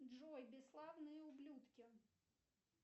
джой бесславные ублюдки